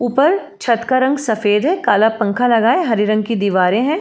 ऊपर छत का रंग सफेद है कल पंख लगा हरे रंग की दीवारें है।